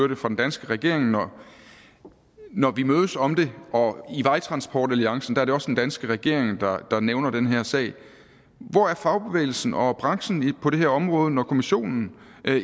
det fra den danske regering når når vi mødes om det og i vejtransportalliancen er det også den danske regering der nævner den her sag hvor er fagbevægelsen og branchen på det her område når kommissionen